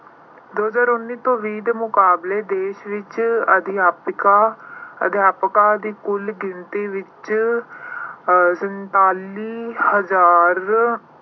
ਦੋ ਹਜ਼ਾਰ ਉੱਨੀ ਤੇ ਵੀਹ ਦੇ ਮੁਕਾਬਲੇ ਦੇਸ਼ ਵਿੱਚ ਅਧਿਆਪਕਾਂ ਅਹ ਅਧਿਆਪਕਾਂ ਦੀ ਕੁੱਲ ਗਿਣਤੀ ਵਿੱਚ ਅਹ ਸੰਤਾਲੀ ਹਜ਼ਾਰ